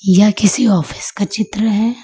यह किसी ऑफिस का चित्र है।